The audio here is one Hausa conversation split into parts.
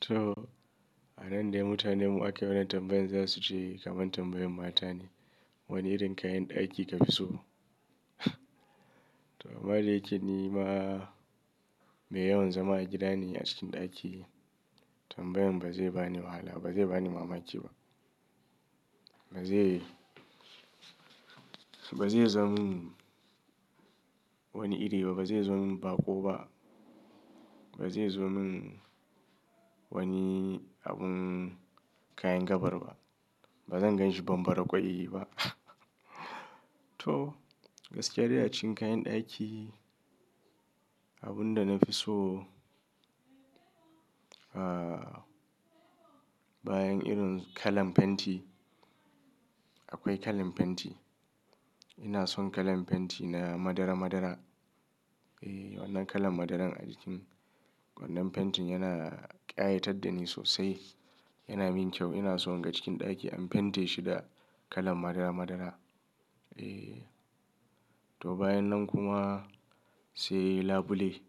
To, a nan dai mutane mu ake wa na tambayan za su ce kamar tambayan matane. Wani irin kayan ɗaki ka fi so? To, amma da yake ni ma, mai yawan zama a gida ne a cikin ɗaki. Tambayen ba zai ba ni wahala ba zai ba ni mamaki ba. Ba zai, ba zai zamin wani ire ba, ba zai zamin baƙo ba, ba zai zamin wani abun kayan gabar ba. Ba zan ganshi bambara ƙwai ba. To, gaskiya dai a cikin kayan ɗaki, abun da na fi so, ah, bayan irin kalan fenti, akwai kalan fenti. Ina son kalan fenti na madara madara. Eh, wannan kalan madaran a cikin wannan fentin yana ƙayatar da ni sosai. Yana min kyau. Ina in ga cikin ɗaki an fente shi da kalan madara madara. Eh. To, bayan nan kuma, sai labule.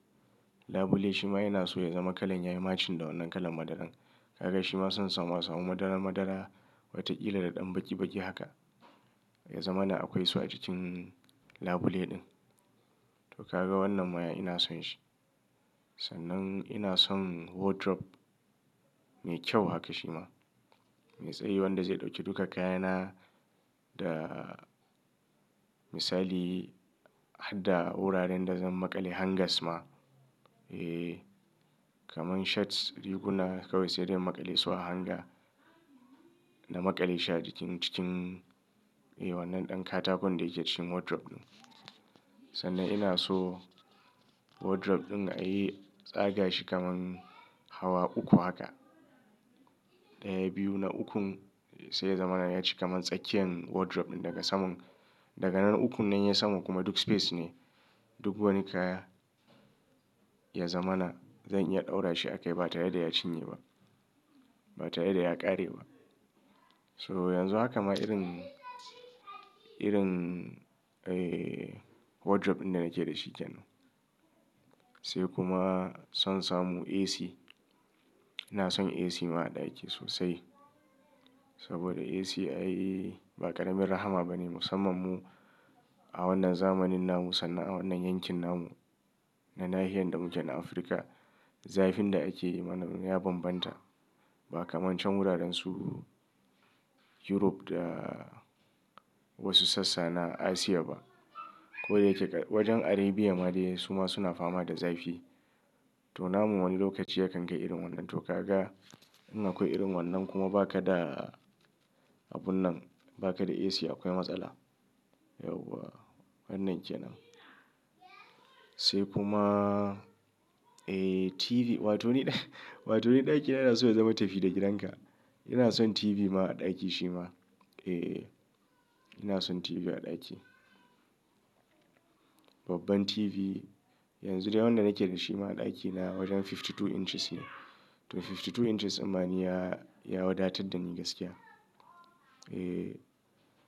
Labule shi ma yana so ya zama kalan yayi matchin da wannan kalan madaran. Kaga shi ma son samu asamu madara madara wataƙila da ɗan baki baki haka ya zama na akwai su a cikin labule ɗin. To, kaga wannan ma ina son shi. Sannan ina son wardrobe mai kyau haka shi ma. Mai tsayi wanda zai ɗauki duka kayana da misali har da wuraren da zan maƙale hangers ma. Eh, kamar shirts, riguna kawai sai dai na maƙale su a hanger na maƙale shi a cikin, cikin, eh wannan ɗan katakon da yake cikin wardrobe ɗin. Sannan ina so wardrobe ɗin a yi tsaga shi kamar hawa uku haka. Daya, biyu na ukun sai ya zama na ya ci kamar tsakiyar wardrobe ɗin daga saman. Daga nan ukun nan ya saman kuma duk space ne. Duk wani kaya ya zama na zan iya ɗaura shi a kai ba tare da ya cinye ba. Ba tare da ya ƙare ba. So yanzu haka ma irin, irin, eh wardrobe ɗin da nake da shi ke nan. Sai kuma son samu AC. Ina son AC ma a ɗaki sosai. Saboda AC ai ba ƙaramin rahama ba ne musamman mu a wannan zamanin nan mu sannan a wannan yankin nan mu na nahiya da mukai na Afirka. Zafin da ake yi mana ya bambanta. Ba kamar can wuraren su Europe da wasu sassa na Asia ba. Ko dai yake wajen Arabia ma dai su ma suna fama da zafi. To, namu wani lokaci ya kan ga irin wannan. To, kaga in akwai irin wannan kuma ba ka da abun nan, ba ka da AC akwai matsala. Yauwa, wannan ke nan. Sai kuma, eh TV. Watoni, watoni ɗakina yana so ya zama tafi da gidanka. Ina son TV ma a ɗaki shi ma. Eh, ina son TV a ɗaki. Babban TV. Yanzu dai wannan da nake da shi ma a ɗakina wajen fifty two inches ne. To, fifty two inches amma ni ya, ya wadatar da ni gaskiya. Eh,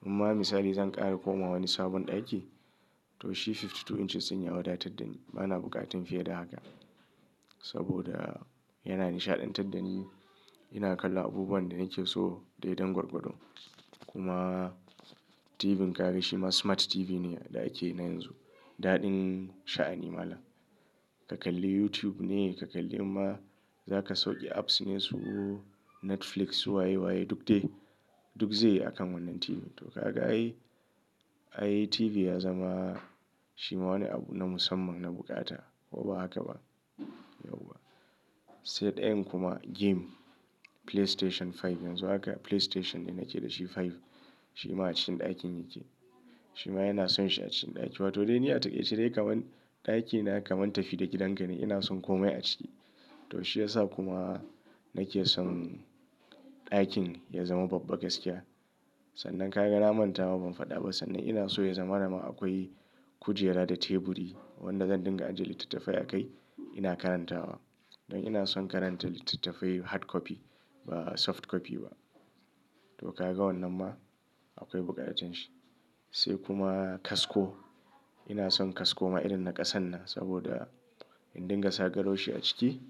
amma misali zan ƙara koma wani sabon ɗaki, to shi fifty two inches din ya wadatar da ni. Ba na buƙatar fiye da haka. Saboda yana nishaɗantar da ni. Ina kalla abubuwan da nake so dai dan gwargwadon. Kuma TV din ka ka ga shi ma smart TV ne da ake yi na yanzu. Daɗin sha'ani mala. Ka kalli YouTube ne, ka kalli imma za ka sauke apps ne su Netflix su waye waye duk dai. Duk zai a kan wannan TV. To, kaga ai, ai TV ya zama shi ma wani abu na musamman na bukata. Ko ba haka ba? Yauwa. Sai ɗayan kuma game. PlayStation five. Yanzu haka PlayStation ne nake da shi five. Shi ma a cikin ɗakin yake. Shi ma yana son shi a cikin ɗaki. Watoni dai ni a takaice dai kamar ɗakina kamar tafi da gidanka ne. Ina son komai a ciki. To, shi ya sa kuma nake son ɗakin ya zama babba gaskiya. Sannan ka ga na manta ma ban faɗa ba sannan ina so ya zama na ma akwai kujera da teburi wanda zan dinga ajiye littattafai a kai ina karantawa. Don ina son karanta littattafai hard copy ba soft copy ba. To, ka ga wannan ma akwai buƙatar shi. Sai kuma kasko. Ina son kasko ma irin na ƙasan nan saboda in dinga sa garwashi a ciki.